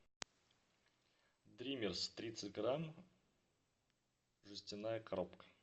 дримерс тридцать грамм жестяная коробка